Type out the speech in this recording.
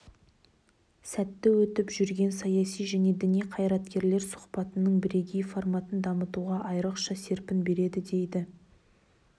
сәтті өтіп жүрген саяси және діни қайраткерлер сұхбатының бірегей форматын дамытуға айрықша серпін береді дейді